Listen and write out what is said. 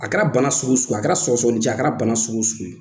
A kɛra bana sugu sugu ye a kɛra sɔgɔnijɛ a kɛra bana sugu sugu ye